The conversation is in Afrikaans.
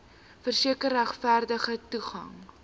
verseker regverdige toegang